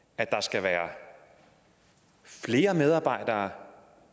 at der skal være flere medarbejdere